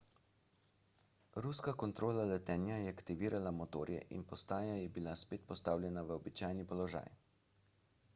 ruska kontrola letenja je aktivirala motorje in postaja je bila spet postavljena v običajni položaj